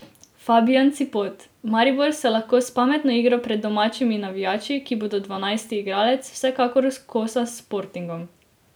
Fabijan Cipot: 'Maribor se lahko s pametno igro pred domačimi navijači, ki bodo dvanajsti igralec, vsekakor kosa s Sportingom.